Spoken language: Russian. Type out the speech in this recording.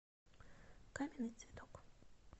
каменный цветок